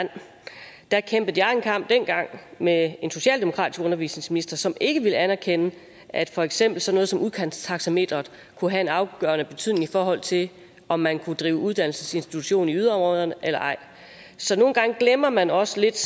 det er kæmpede jeg en kamp med en socialdemokratisk undervisningsminister som ikke ville anerkende at for eksempel sådan noget som udkantstaxameteret kunne have en afgørende betydning i forhold til om man kunne drive uddannelsesinstitution i yderområderne eller ej så nogle gange glemmer man også lidt